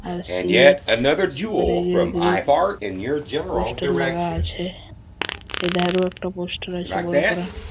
আর CEAT super real grip poster লাগা আছে এধারেও একটা পোস্টার আছে বড় করা।